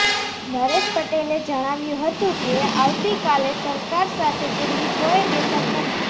નરેશ પટેલે જણાવ્યું હતું કે આવતી કાલે સરકાર સાથે તેમની કોઇ બેઠક નથી